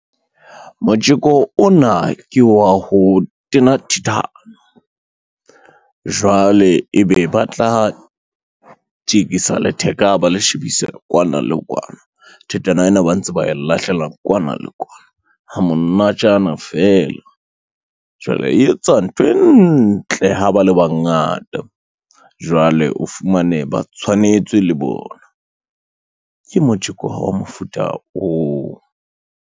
Motjeko ona ke wa ho tena thithane, jwale ebe ba tla tjekisa letheka ba le shebise kwana le kwana, thithana ena ba ntse ba lahlela kwana le kwana ha monatjana feela. Jwale e etsa nthwe ntle ha ba le bangata, jwale o fumane ba tshwanetswe le bona. Ke motjeko wa mofuta oo.